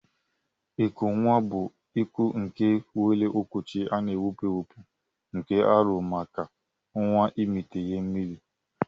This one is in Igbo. Iko nwa bu iko nke nwere okwuchi ana ewepu ewepu nke arụrụ maka nwa imita ihe mmiri.